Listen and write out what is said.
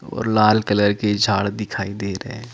और लाल कलर के झाड़ दिखाई दे रहे है ।